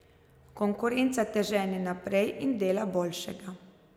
Konkurenca te žene naprej in dela boljšega.